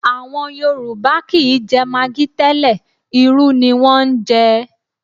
À̀wọn Yorùbá kì í jẹ magi tẹ́lẹ̀, irú ni wọ́n ń jẹ